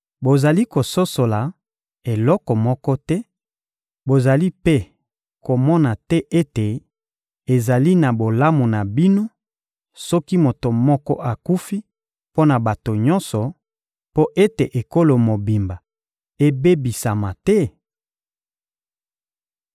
— Bozali kososola eloko moko te; bozali mpe komona te ete ezali mpo na bolamu na bino soki moto moko akufi mpo na bato nyonso, mpo ete ekolo mobimba ebebisama te?